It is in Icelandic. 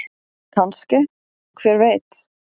Kannske- hver veit?